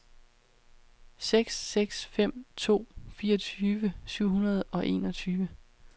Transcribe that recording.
seks seks fem to fireogtyve syv hundrede og enogtyve